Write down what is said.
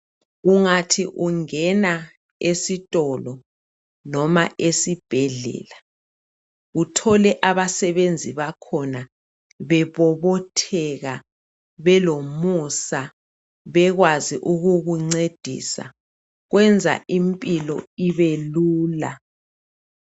Ungathi ungena esitolo loba esibhedlela thole abasebenzi bakhona bebobotheka, belomusa. Belakho ukukuncedisa, kwenza impilo ibelula.